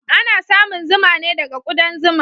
Ana samun zuma ne daga kudan zuma.